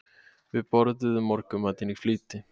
Við borðuðum morgunmatinn í flýti.